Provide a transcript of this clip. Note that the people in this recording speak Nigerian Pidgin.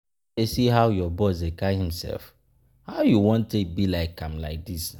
You no dey see how your boss dey carry himself? How you wan take be like am like dis?